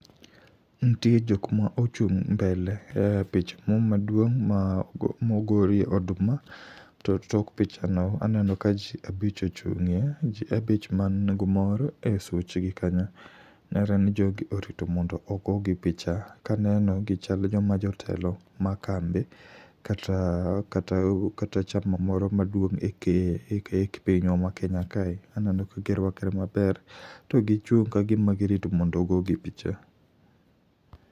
Ntie jokma ochung' mbele e pich mo maduong mogorie oduma, to tok picha no aneno ka ji abich ochung'ie. Ji abich man gu mor e such gi kanyo, nenre ni jogi orito mondo ogogi picha. Kaneno, gichal joma jotelo ma kambi, kata chama moro maduong' e kipinywa ma Kenya kae. Aneno ka girwakre maber to gichung' kagima girito mondo ogogi picha.